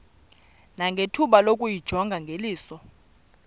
nangethuba lokuyijonga ngeliso